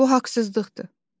Bu haqsızlıqdır.